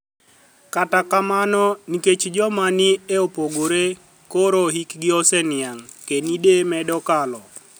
Kata kamano, niikech joma ni e opogore koro hikgi oseniianig', kinide medo kalo.